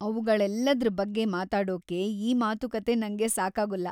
ಅವುಗಳೆಲ್ಲದ್ರ ಬಗ್ಗೆ ಮಾತಾಡೋಕ್ಕೆ ಈ ಮಾತುಕತೆ ನಂಗೆ ಸಾಕಾಗುಲ್ಲ.